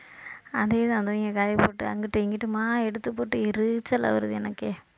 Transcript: அதே தான் இங்க காயப்போட்டு அங்கிட்டும் இங்கிட்டுமா எடுத்துப்போட்டு எரிச்சலா வருது எனக்கு